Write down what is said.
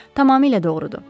Tamamilə doğrudur.